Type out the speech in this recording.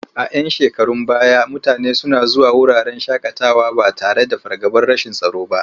A 'yan shekarun baya mutane suna zuwa wuraren shaƙatawa ba tare da fargabar rashin tsaro ba.